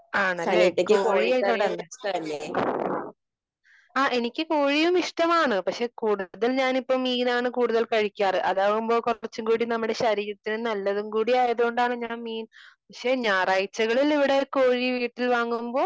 ആണല്ലെ? കോഴി ആയത് കൊണ്ടല്ലേ . ആ എനിക്ക് കോഴിയും ഇഷ്ടമാണ്. പക്ഷേ കൂടുതൽ ഞാനിപ്പോ മീനാണ് കൂടുതൽ കഴിക്കാറ് . ആതാവുമ്പോ കുറച്ചുകൂടി നമ്മുടെ ശരീരത്തിന് നല്ലതും കൂടി ആയതുകൊണ്ട് ഞാൻ മീൻ . പക്ഷേ ഞായറാഴ്ചകളിൽ ഇവിടെ കോഴി വീട്ടിൽ വാങ്ങുമ്പോ